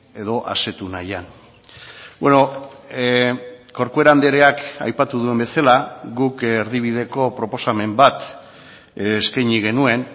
edo asetu nahian corcuera andreak aipatu duen bezala guk erdibideko proposamen bat eskaini genuen